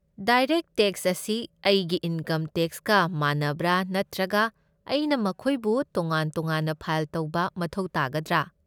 Direct tax ꯑꯁꯤ ꯑꯩꯒꯤ income ꯇꯦꯛꯁꯀ ꯃꯥꯟꯅꯕ꯭ꯔꯥ ꯅꯠꯇ꯭ꯔꯒ ꯑꯩꯅ ꯃꯈꯣꯏꯕꯨ ꯇꯣꯉꯥꯟ ꯇꯣꯉꯥꯟꯅ ꯐꯥꯏꯜ ꯇꯧꯕ ꯃꯊꯧ ꯇꯥꯒꯗ꯭ꯔꯥ?